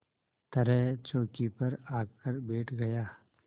तरह चौकी पर आकर बैठ गया